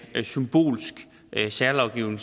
symbolsk særlovgivning